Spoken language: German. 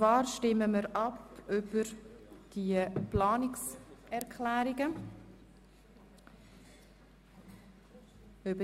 Wir stimmen einzeln über die Planungserklärungen ab.